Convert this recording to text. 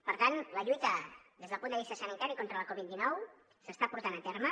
per tant la lluita des del punt de vista sanitari contra la covid dinou s’està portant a terme